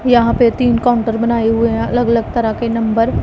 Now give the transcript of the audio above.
यहां पे तीन काउंटर बनाए हुए हैं अलग अलग तरह के नंबर --